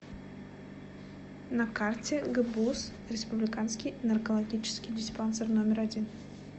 на карте гбуз республиканский наркологический диспансер номер один